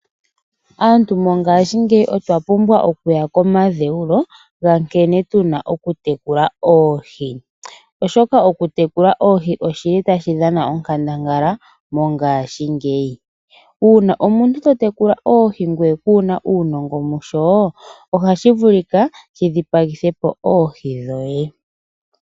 Aantu mongashingeyi otwa pumbwa okuya komadheulo ga nkene tuna okumuna oohi. Oshoka okumuna oohi mongashingeyi otaku dhana onkandangala. Uuna omuntu to tekula oohi ngoye kuuna uunongo musho ohashi vuluka shi dhipagithepo oohi dhoye.